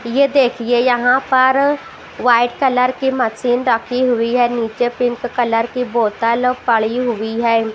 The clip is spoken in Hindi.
ये देखिए यहां पर वाइट कलर की मशीन रखी हुई है नीचे पिंक कलर की बोतल पड़ी हुई है।